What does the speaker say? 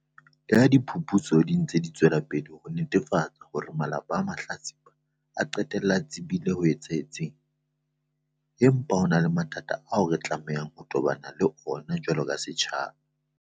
Leha diphuputso di ntse di tswela pele ho netefatsa hore malapa a mahlatsipa a qetella a tsebile se etsahetseng, empa ho na le mathata ao re tlamehang ho tobana le ona jwalo ka setjhaba.